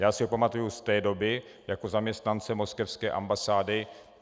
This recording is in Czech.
Já si ho pamatuji z té doby jako zaměstnance moskevské ambasády.